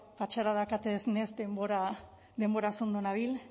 patxadaz denboraz ondo nabil